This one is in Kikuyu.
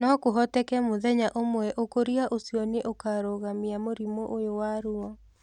No kũhotekeke mũthenya ũmwe ũkũria ũcio nĩ ũkarũgamia mũrimũ ũyũ wa ruo.